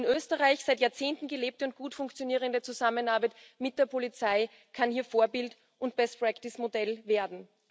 Die in Österreich seit Jahrzehnten gelebte und gut funktionierende Zusammenarbeit mit der Polizei kann hier Vorbild und Best Practice Modell werden.